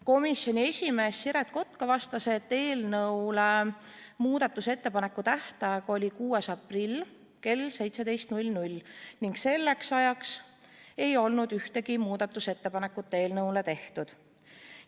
Komisjoni esimees Siret Kotka vastas, et eelnõu kohta muudatusettepanekute esitamise tähtaeg oli 6. aprill kell 17 ning selleks ajaks ei olnud ühtegi muudatusettepanekut eelnõu kohta tehtud.